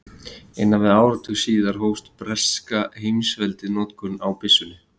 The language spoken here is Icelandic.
innan við áratug síðar hóf breska heimsveldið notkun á byssunni